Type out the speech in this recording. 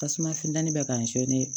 Tasuma funtɛni bɛ k'a